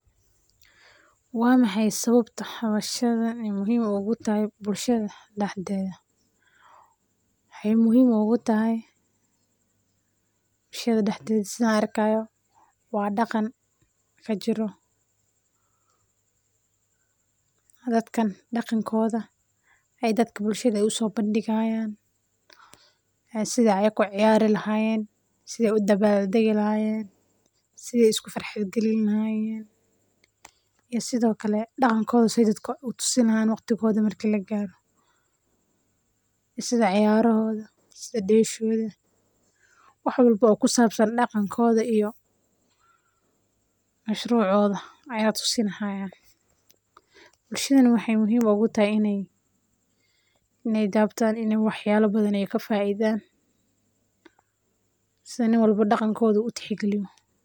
Wexey muhhim ogutahay sida arko wa daqan kajiro dadkan ayey bulshada usobandigaya sidey uciyari lahayen siden iskufarxad galinayenn iyo sida udabalgadi lahayen sidey waxtigoda daqankoda usodigi lahyen. Bushadana wexey muhiim ugutahay in ey kaifaidan si oo qof walbo daqankoda utexgaliyo.